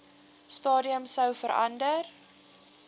stadium sou verander